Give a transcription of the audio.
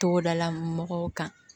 Togodala mɔgɔw kan